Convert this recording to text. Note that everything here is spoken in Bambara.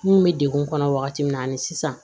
Mun bɛ degun kɔnɔ wagati min na ani sisan